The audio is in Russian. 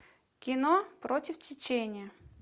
кино против течения